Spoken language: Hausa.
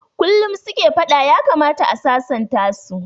Kullum suke fada, ya kamata a sasanta su